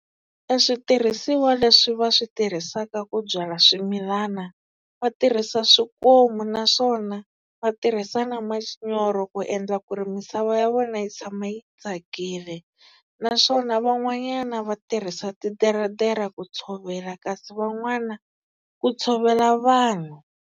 E switirhisiwa leswi va swi tirhisaka ku byala swimilana, va tirhisa swikomu naswona va tirhisa na manyoro ku endla ku ri misava ya vona yi tshama yi tsakile. Naswona van'wanyana va tirhisa titeretera ku tshovela kasi van'wana ku tshovela vanhu.